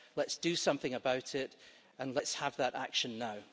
Let's do something about it, and let's have that action now.